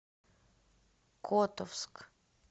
котовск